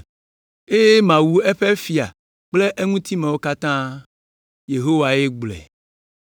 eye mawu eƒe fia kple eŋutimewo katã.” Yehowae gblɔe.